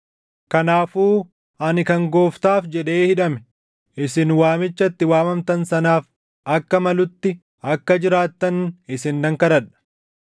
Kanaafuu ani kan Gooftaaf jedhee hidhame, isin waamicha itti waamamtan sanaaf akka malutti akka jiraattan isin nan kadhadha.